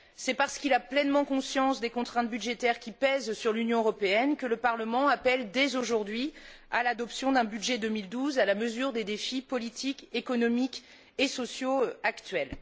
C'est parce qu'il a pleinement conscience des contraintes budgétaires qui pèsent sur l'Union européenne que le Parlement appelle, dès aujourd'hui, à l'adoption d'un budget 2012 à la mesure des défis politiques, économiques et sociaux actuels.